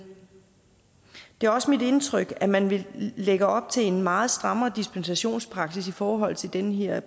det er også mit indtryk at man lægger op til en meget strammere dispensationspraksis i forhold til den her